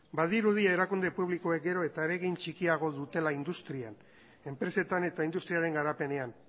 badirudi erakunde publikoek gero eta eragin txikiagoa dutela industrian enpresetan eta industriaren garapenean